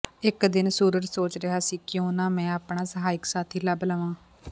ਇਕ ਦਿਨ ਸੂਰਜ ਸੋਚ ਰਿਹਾ ਸੀ ਕਿ ਕਿਉਂ ਨਾ ਮੈਂ ਆਪਣਾ ਸਹਾਇਕ ਸਾਥੀ ਲੱਭ ਲਵਾਂ